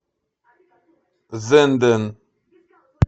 зенден